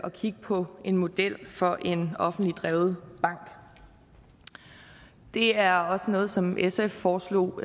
at kigge på en model for en offentligt drevet bank det er også noget som sf foreslog